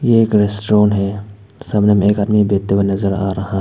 एक रेस्टोरेंट है सामने में एक आदमी बैठे हुए नजर आ रहा है।